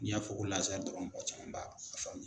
N'i y'a fɔ ko Lazari dɔrɔn mɔgɔ caman b'a ka